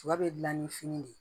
Sɔ bɛ dilan ni fini de ye